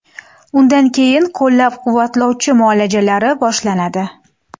Undan keyin qo‘llab-quvvatlovchi muolajalari boshlanadi.